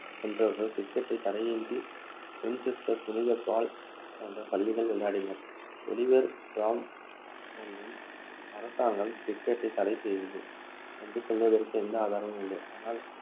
சென்றவர்கள் cricket டை தடையின்றி வின்செஸ்டர், புனித பால் போன்ற பள்ளிகளில் விளையாடினர். ஒலிவர் க்ரோம்வேல்லின் அரசாங்கம் cricket டை தடை செய்தது என்று சொல்வதற்கு எந்த ஆதாரமும் இல்லை. ஆனால்